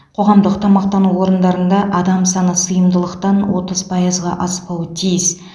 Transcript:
қоғамдық тамақтану орындарында адам саны сыйымдылықтан отыз пайызға аспауы тиіс